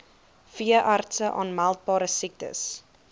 veeartse aanmeldbare siektes